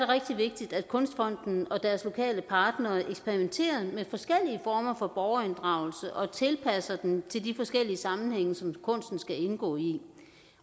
rigtig vigtigt at kunstfonden og deres lokale partnere eksperimenterer med forskellige former for borgerinddragelse og tilpasser den til de forskellige sammenhænge som kunsten skal indgå i